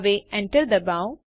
હવે એન્ટર ડબાઓ